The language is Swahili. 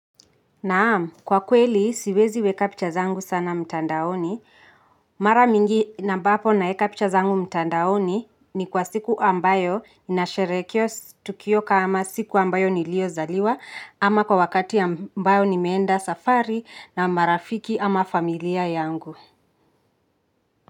Naam, kwa kweli siwezi weka picha zangu sana mtandaoni. Mara mingi na ambapo naeka picha zangu mtandaoni ni kwa siku ambayo ninasherehekea tukioka kama siku ambayo niliyo zaliwa ama kwa wakati ambayo ni meenda safari na marafiki ama familia yangu.